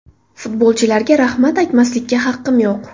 Futbolchilarga rahmat aytmaslikka haqqim yo‘q.